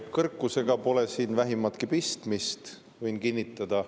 Kõrkusega pole siin vähimatki pistmist, võin kinnitada.